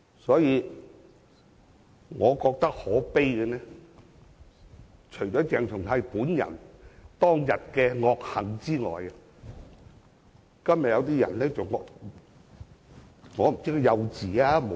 因此，我認為可悲的是，除了是鄭松泰本人當日的惡行外，就是今天某些人的看法。